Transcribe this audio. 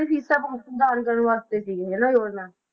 ਸੁਧਾਰ ਕਰਨ ਵਾਸਤੇ ਸੀ ਇਹ ਨਾ ਯੋਜਨਾ।